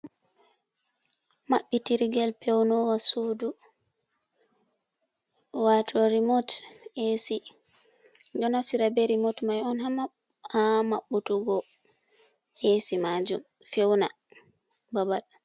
Maɓɓitirgel pewnowa sudu wato rimot esi, ɗo naftira be rimot mai on ha maɓɓutugo esi majum fewna babal.